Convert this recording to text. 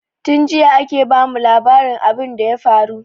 Tin jiya ake ba mu labarin abin da ya faru